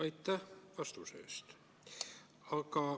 Aitäh vastuste eest!